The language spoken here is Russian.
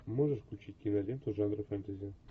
можешь включить киноленту жанра фэнтези